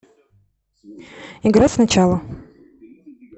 играть сначала